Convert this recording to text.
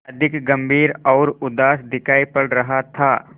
अधिक गंभीर और उदास दिखाई पड़ रहा था